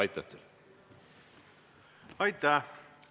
Aitäh!